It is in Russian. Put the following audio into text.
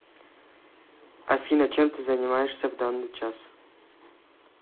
афина чем ты занимаешься в данный час